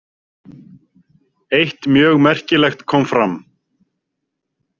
Eitt mjög merkilegt kom fram.